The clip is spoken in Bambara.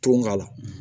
Tɔn ŋ'a la